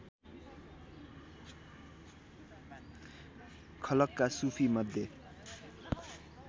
खलकका सुफी मध्ये